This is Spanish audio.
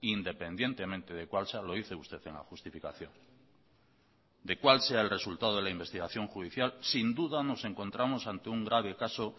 independientemente de cuál sea lo dice usted en la justificación de cuál sea el resultado de la investigación judicial sin duda nos encontramos ante un grave caso